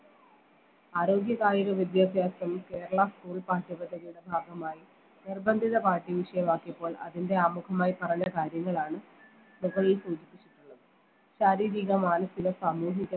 ആരോഗ്യ കായിക വിദ്യാഭ്യാസം കേരള school പാഠ്യ പദ്ധതിയുടെ ഭാഗമായി നിർബന്ധിത പാഠ്യ വിഷയമാക്കിയപ്പോൾ അതിൻറെ ആമുഖമായി പറഞ്ഞ കാര്യങ്ങളാണ് മുകളിൽ സൂചിപ്പിച്ചിട്ടുള്ളത് ശാരീരിക മാനസിക സാമൂഹിക